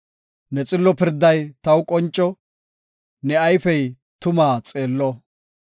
Ne xillo pirday taw qonco; ne ayfey tumaa xeello.